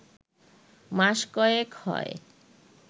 মাস কয়েক হয়